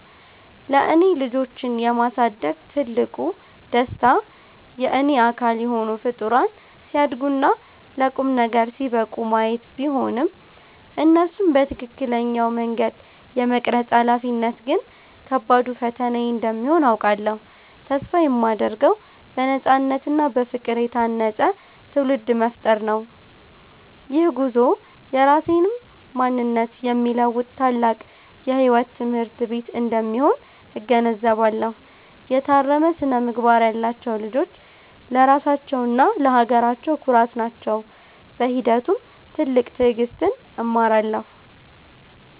ለእኔ ልጆችን የማሳደግ ትልቁ ደስታ የእኔ አካል የሆኑ ፍጡራን ሲያድጉና ለቁም ነገር ሲበቁ ማየት ቢሆንም፣ እነሱን በትክክለኛው መንገድ የመቅረጽ ኃላፊነት ግን ከባዱ ፈተናዬ እንደሚሆን አውቃለሁ። ተስፋ የማደርገው በነፃነትና በፍቅር የታነፀ ትውልድ መፍጠር ነው። ይህ ጉዞ የራሴንም ማንነት የሚለውጥ ታላቅ የሕይወት ትምህርት ቤት እንደሚሆን እገነዘባለሁ። የታረመ ስነ-ምግባር ያላቸው ልጆች ለራሳቸውና ለሀገራቸው ኩራት ናቸው። በሂደቱም ትልቅ ትዕግሥትን እማራለሁ።